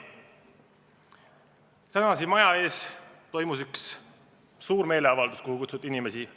Täna siin maja ees toimus üks suur meeleavaldus, kuhu kutsuti inimesi.